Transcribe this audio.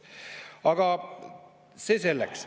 Aga see selleks.